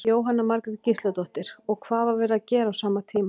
Jóhanna Margrét Gísladóttir: Og hvað var verið að gera á sama tíma?